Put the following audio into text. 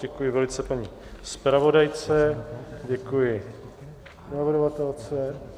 Děkuji velice paní zpravodajce, děkuji navrhovatelce.